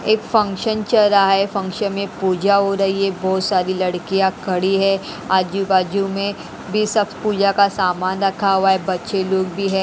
एक फंक्शन चल रहा है फंक्शन में पूजा हो रही है बहोत सारी लड़कियां खड़ी है आजू बाजू में वे सब पूजा का सामान रखा हुआ है बच्चे लोग भी है।